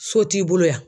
So t'i bolo yan